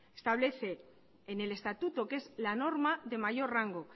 establece en el estatuto que es la norma de mayor rango